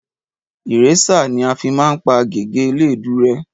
Ìrésà ní afi máa ń pá gègé eléèdú rẹ́